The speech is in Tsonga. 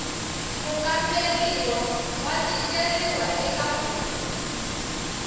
mukamberiwa wa tikeriwa eka ku